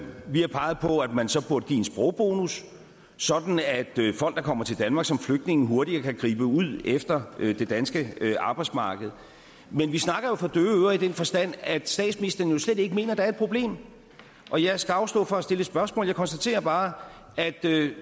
vi har peget på at man så burde give en sprogbonus sådan at folk der kommer til danmark som flygtninge hurtigere kan gribe ud efter det danske arbejdsmarked men vi snakker jo for døve ører i den forstand at statsministeren slet ikke mener at der er et problem og jeg skal afstå fra at stille spørgsmål jeg konstaterer bare at